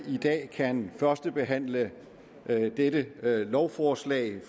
i dag kan førstebehandle dette lovforslag